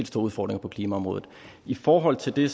store udfordringer på klimaområdet i forhold til det